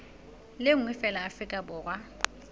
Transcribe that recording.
le nngwe feela afrika borwa